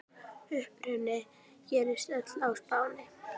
Uppruni gerist öll á Spáni.